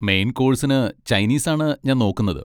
Main കോഴ്സിന് Chinese ആണ് ഞാൻ നോക്കുന്നത്.